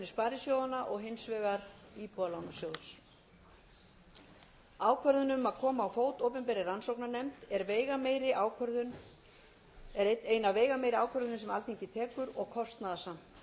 sparisjóðanna og hins vegar íbúðalánasjóðs ákvörðun um að koma á fót opinberri rannsóknarnefnd er ein af veigameiri ákvörðunum sem alþingi tekur og kostnaðarsamt